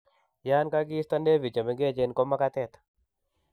Yan kagista nevi chemengechen ko magatet